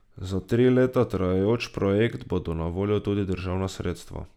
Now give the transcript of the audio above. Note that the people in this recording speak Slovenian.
Za tri leta trajajoč projekt bodo na voljo tudi državna sredstva.